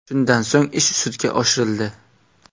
Shundan so‘ng ish sudga oshirildi.